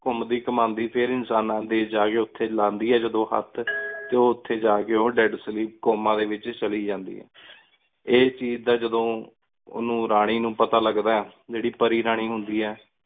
ਘੁਮਦੀ ਘੁਮੰਡੀ ਫੇਰ ਇਨਸਾਨਾ ਡੀ ਦੇਸ਼ ਚ ਜਾ ਕੀ ਉਠੀ ਲੈਂਦੀ ਆਯ ਜਾਦੁਨ ਹੇਠ ਟੀ ਓ ਉਠੀ ਜਾ ਕੀ death sleep comma ਡੀ ਵੇਚ ਚਲੀ ਜਾਂਦੀ ਆਯ ਇਸ ਚੀਜ਼ ਦਾ ਜਾਦੁਨ ਉਨੂ ਰਾਨੀ ਨੂ ਪਤਾ ਲਘਦਾ ਜੀਰੀ ਪਾਰੀ ਰਾਨੀ ਹੁੰਦੀ ਆਯ